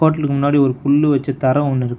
ஹோட்டலுக்கு முன்னாடி ஒரு புல்லு வெச்சு தர ஒன்னு இருக் --